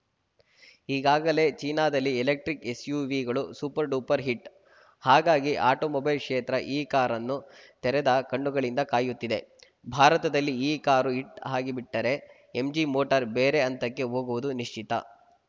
ಈಗಾಗಲೇ ಚೀನಾದಲ್ಲಿ ಎಲೆಕ್ಟ್ರಿಕ್‌ ಎಸ್‌ಯುವಿಗಳು ಸೂಪರ್‌ಡ್ಯೂಪರ್‌ ಹಿಟ್‌ ಹಾಗಾಗಿ ಆಟೋಮೊಬೈಲ್‌ ಕ್ಷೇತ್ರ ಈ ಕಾರನ್ನು ತೆರೆದ ಕಣ್ಣುಗಳಿಂದ ಕಾಯುತ್ತಿದೆ ಭಾರತದಲ್ಲಿ ಈ ಕಾರು ಹಿಟ್‌ ಆಗಿಬಿಟ್ಟರೆ ಎಂಜಿ ಮೋಟಾರ್‌ ಬೇರೆ ಹಂತಕ್ಕೆ ಹೋಗುವುದು ನಿಶ್ಚಿತ